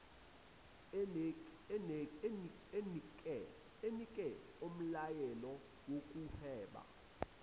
enike umlayelo wokuhweba